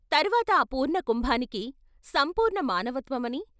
తర్వాత ఆ పూర్ణ కుంభానికి, ' సంపూర్ణ మానవత్వమని.